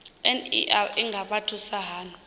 ner i nga vha thusa hani